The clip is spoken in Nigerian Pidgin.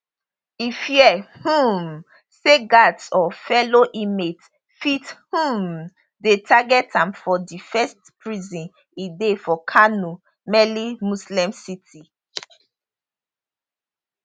e fear um say guards or fellow inmates fit um dey target am for di first prison e dey for kano mainly muslim city